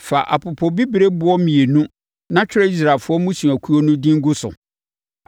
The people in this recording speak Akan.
“Fa apopobibirieboɔ mmienu na twerɛ Israelfoɔ mmusuakuo no din gu so.